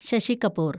Sasi Kapoor